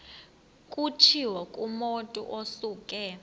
kutshiwo kumotu osuke